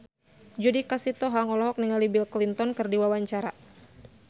Judika Sitohang olohok ningali Bill Clinton keur diwawancara